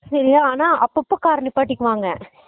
சேரியா ஆனா அப்போ அப்போ car நிப்பாட்டிப்பாங்க